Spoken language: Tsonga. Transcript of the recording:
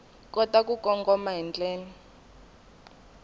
kota ku kongoma hi ndlela